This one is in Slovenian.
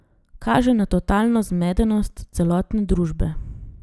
Kaže na totalno zmedenost celotne družbe.